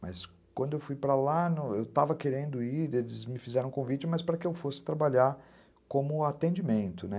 Mas quando eu fui para lá, eu estava querendo ir, eles me fizeram um convite, mas para que eu fosse trabalhar como atendimento, né?